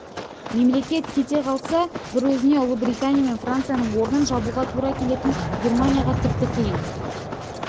мемлекет кете қалса бір өзіне ұлыбритания мен францияның орнын жабуға тура келетін германияға тіпті қиын